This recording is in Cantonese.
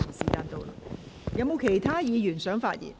是否有其他議員想發言？